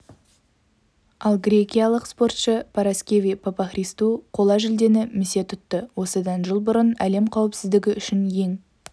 ал грекиялық спортшы параскеви папахристу қола жүлдені місе тұтты осыдан жыл бұрын әлем қауіпсіздігі үшін ең